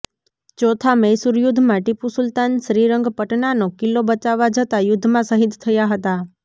ચોથા મૈસુર યુધ્ધમાં ટીપુ સુલતાન શ્રીરંગ પટનાનો કિલ્લો બચાવવા જતાં યુધ્ધમાં શહીદ થયા હતાં